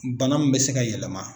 Bana min bɛ se ka yɛlɛma